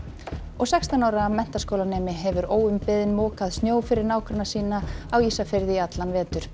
sextán ára menntaskólanemi hefur óumbeðinn mokað snjó fyrir nágranna sína á Ísafirði í allan vetur